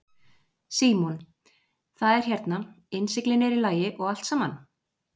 Símon: Það er hérna, innsiglingin er í lagi og allt saman?